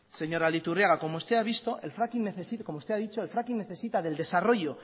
señora aldaiturriaga como usted ha dicho el fracking necesita del desarrollo